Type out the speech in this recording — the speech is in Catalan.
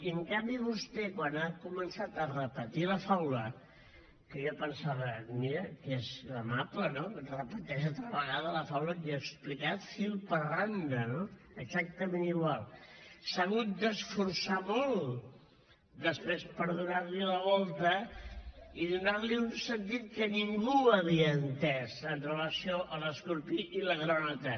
i en canvi vostè quan ha començat a repetir la faula que jo pensava mira que és amable no repeteix altra vegada la faula que jo he explicat fil per randa no exactament igual s’ha hagut d’esforçar molt després per donar hi la volta i donar hi un sentit que ningú havia entès amb relació a l’escorpí i la granota